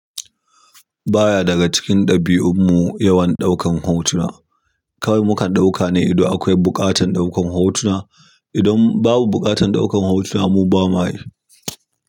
Baya daga cikin ɗabi'un mu yawan ɗaukar hotuna kawai mukan daukane idan akwai buƙatar ɗaukan hotuna idan babu buƙatan ɗaukan hotuna mu ba mayi.